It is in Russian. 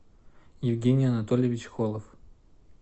евгений анатольевич холов